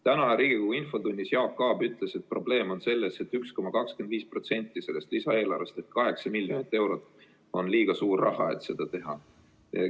Täna Riigikogu infotunnis ütles Jaak Aab, et probleem on selles, et 1,25% lisaeelarvest ehk 8 miljonit eurot on liiga suur raha, et seda hüvitist maksta.